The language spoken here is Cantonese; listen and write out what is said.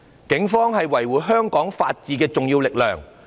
警方是維護香港法治的重要力量。